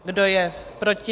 Kdo je proti?